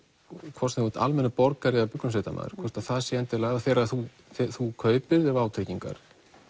hvort sem þú ert almennur borgari eða björgunarsveitamaður hvort að það sé endilega þegar þú þú kaupir þér vátryggingar